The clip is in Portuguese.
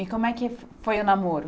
E como é que foi o namoro?